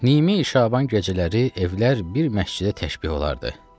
Nimi Şaban gecələri evlər bir məscidə təşbeh olardı.